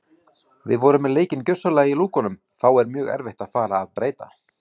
Við vorum með leikinn gjörsamlega í lúkunum þá er mjög erfitt að fara að breyta.